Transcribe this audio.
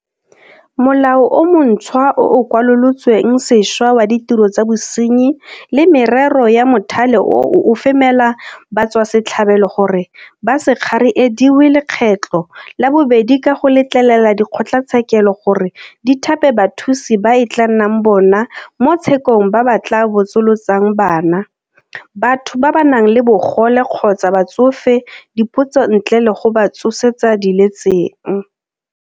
Molao o montšhwa o o Kwalolotsweng Sešwa wa Ditiro tsa Bosenyi le Merero ya Mothale oo o femela batswasetlhabelo gore ba se kgariediwe lekgetlo la bobedi ka go letlelela dikgotlatshekelo gore di thape bathusi ba e tla nnang bona mo tshekong ba ba tla botsolotsang bana, batho ba ba nang le bogole kgotsa batsofe dipotso ntle le go ba tsosetsa diletseng.